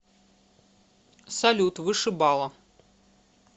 салют вышибала